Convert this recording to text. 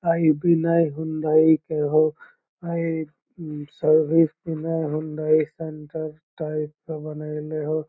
आ इ विनय हुंडई के होअ ए उम service Vinay Hyundai centre type के बनइले होअ।